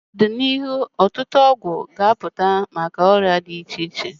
Ọtụtụ ọgwụ ga-apụta maka ọrịa dị iche iche n'ọdịnihu.